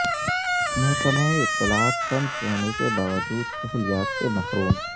محکمہ اطلاعات فنڈز ہونے کے باوجود سہولیات سے محروم